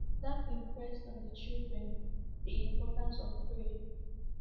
That impressed on the children the importance of prayer.